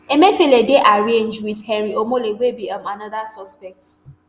emefiele dey arraigned wit henry omole wey be um anoda suspect